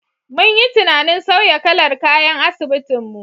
Mun yi tunanin sauya kalar kayan asibitin mu.